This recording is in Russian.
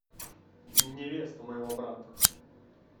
невеста моего брата